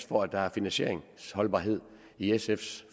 for at der er finansieringsholdbarhed i sfs